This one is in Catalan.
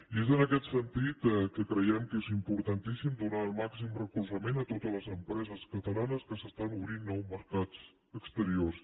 i és en aquest sentit que creiem que és importantíssim donar el màxim recolzament a totes les empreses catalanes que s’estan obrint a nous mercats exteriors